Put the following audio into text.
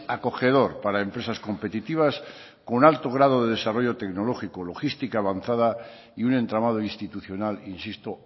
acogedor para empresas competitivas con alto grado de desarrollo tecnológico logística avanzada y un entramado institucional insisto